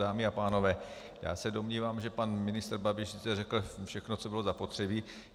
Dámy a pánové, já se domnívám, že pan ministr Babiš řekl všechno, co bylo zapotřebí.